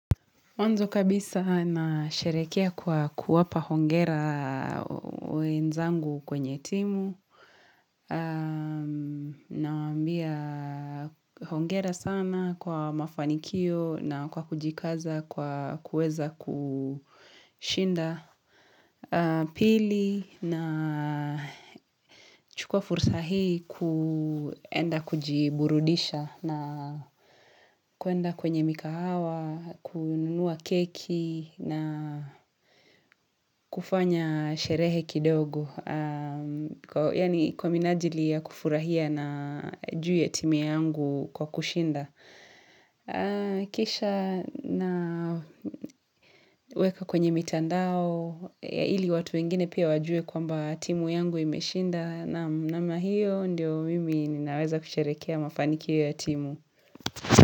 Mwanzo kabisa nasherehekea kwa kuwapa hongera kwa wenzangu kwenye timu, nawambia hongera sana kwa mafanikio na kwa kujikaza kwa kuweza kushinda, pili nachukua fursa hii kuenda kujiburudisha na kuenda kwenye mikahawa, kununua keki na kufanya sherehe kidogo. Yaani kwa minajili ya kufurahia na juu ya timu yangu kwa kushinda. Kisha naweka kwenye mitandao. Ili watu wengine pia wajue kwamba timu yangu imeshinda. Naam, namna hiyo ndio mimi ninaweza kusherehekea mafanikio ya timu.